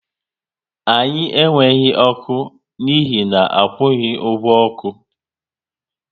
Anyị enweghị ọkụ n'ihi akwughi ọgwụ oku